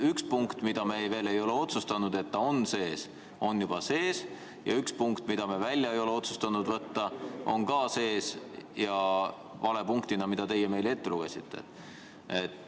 Üks punkt, mille kohta me veel ei ole otsustanud, kas ta on sees, on juba sees, ja üks punkt, mida me ei ole otsustanud välja võtta, on ka sees ja vale punktina, nagu teie meile ette lugesite.